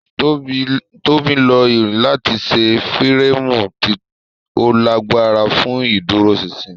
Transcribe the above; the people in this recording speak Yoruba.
Tóbi Lo irin lati ṣe fireemu ti o lagbara fun iduroṣinṣin.